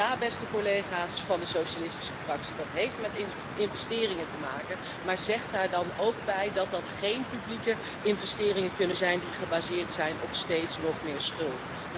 En ja, beste collega's van de Socialistische Fractie, dat heeft met investeringen te maken, maar zeg daar dan ook bij dat dat geen publieke investeringen kunnen zijn, die gebaseerd zijn op steeds nog meer schuld.